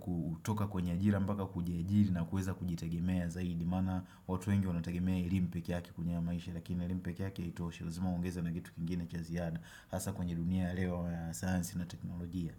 kutoka kwenye ajiri mbaka kujia ajiri na kuweza kujitagimea zaidi maana watu wengi wanatagemea ilimu peke yake kunyea maisha Lakini ilimpeki yaki ito shilazima ungeza na kitu kingine cha ziada Hasa kwenye dunia leo ya saansi na teknolojia.